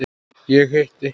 Ég hitti